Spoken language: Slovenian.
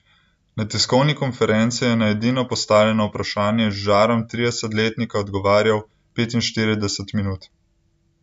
Na tiskovni konferenci je na edino postavljeno vprašanje z žarom tridesetletnika odgovarjal petinštirideset minut.